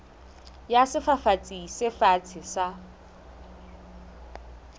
ya sefafatsi se fatshe sa